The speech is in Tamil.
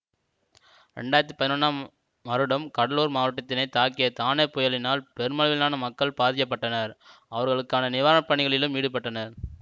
இரண்டு ஆயிரத்தி பதினொன்றாம் வருடம் கடலூர் மாவட்டத்தினை தாக்கிய தானே புயலினால் பெருமளவிலான மக்கள் பாதிக்க பட்டனர் அவர்களுக்கான நிவாரணப்பணிகளிலும் ஈடுபட்டனர்